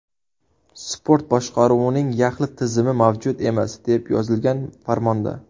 Sport boshqaruvining yaxlit tizimi mavjud emas, deb yozilgan farmonda.